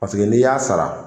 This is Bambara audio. Paseke. n'i y'a sara.